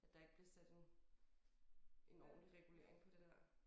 At der ikke bliver sat en en ordentlig regulering på det der